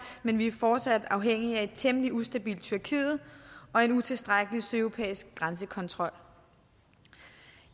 men vi er fortsat afhængige af et temmelig ustabilt tyrkiet og en utilstrækkelig sydeuropæisk grænsekontrol